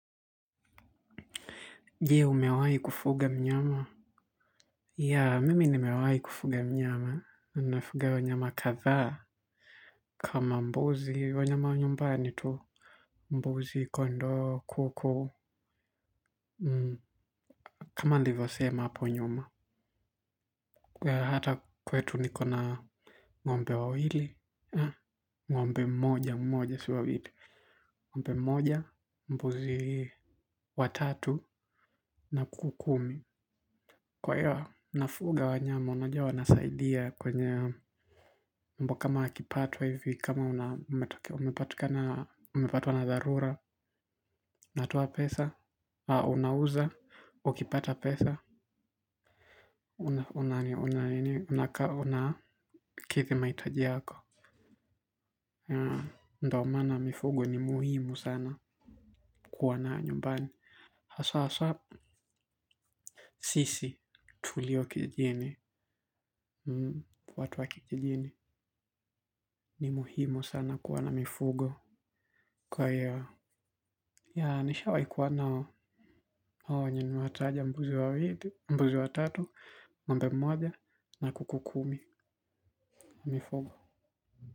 Je, umewahi kufuga mnyama? Ya, mimi nimewahi kufuga mnyama. Unafuga wanyama kadhaa kama mbuzi. Wanyama wa nyumbani tu mbuzi kondoo kuku. Kama nilivyosema hapo nyuma. Hata kwetu niko na ng'ombe wawili. Ngombe moja, mmoja sio wawili. Ngombe mmoja, mbuzi watatu na kuku kumi. Kwa hiyo, nafuga wa nyama, unajua wanasaidia kwenye mambo kama ya kipato hivi, kama umepatwa na dharura, natoa pesa, unauza, ukipata pesa, unakaa unakidhi mahitaji yako. Ndiyo maana mifugo ni muhimu sana kuwa nayo nyumbani. Haswa sisi tulio kijijini. Watu wa kijijini ni muhimu sana kuwa na mifugo kwa hiyo. Ya nishawahi kuwa na hao wanyama niliowataja mbuzi watatu ng'ombe mmoja na kuku kumi mifugo.